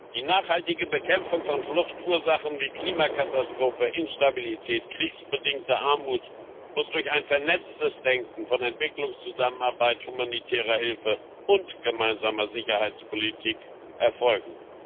Die nachhaltige Bekämpfung von Fluchtursachen wie Klimakatastrophen, Instabilität und kriegsbedingter Armut muss durch ein vernetztes Denken von Entwicklungszusammenarbeit, humanitärer Hilfe und gemeinsamer Sicherheitspolitik erfolgen.